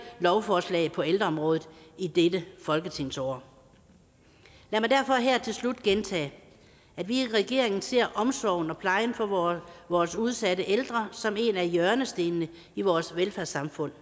lovforslag på ældreområdet i dette folketingsår lad mig derfor her til slut gentage at vi i regeringen ser omsorgen og plejen for vores vores udsatte ældre som en af hjørnestenene i vores velfærdssamfund